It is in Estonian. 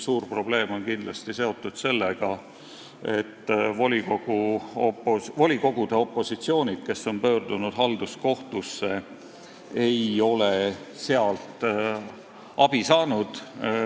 Suur probleem on kindlasti seotud sellega, et volikogude opositsioonid, kes on pöördunud halduskohtusse, ei ole sealt abi saanud.